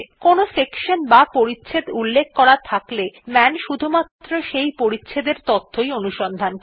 কোনো সেকশন বা পরিচ্ছেদ উল্লেখ করা থাকলে মান শুধুমাত্র সেই পরিচ্ছেদ এর তথ্য অনুসন্ধান করে